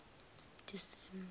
disemba